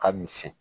Ka misɛn